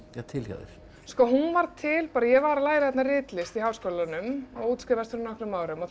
til hjá þér sko hún varð til bara ég var að læra ritlist í Háskólanum og útskrifaðist fyrir nokkrum árum og þá